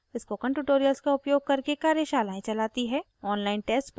• spoken tutorials का उपयोग करके कार्यशालाएं चलाती है